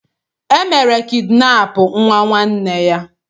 E mere kidinapụ nwa nwanne ya.